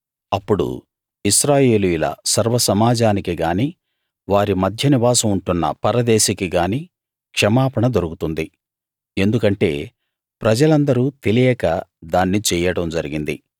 అప్పుడు ఇశ్రాయేలీయుల సర్వసమాజానికి గాని వారి మధ్య నివాసం ఉంటున్న పరదేశికి గాని క్షమాపణ దొరుకుతుంది ఎందుకంటే ప్రజలందరూ తెలియక దాన్ని చెయ్యడం జరిగింది